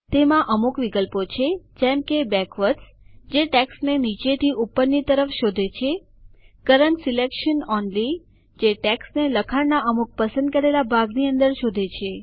તેમાં અમુક વિકલ્પો છે જેમ કે બેકવર્ડ્સ જે ટેક્સ્ટને નીચે થી ઉપર ની તરફ શોધે છે કરન્ટ સિલેક્શન ઓનલી જે ટેક્સ્ટને લખાણના અમુક પસંદ કરેલા ભાગની અંદર શોધે છે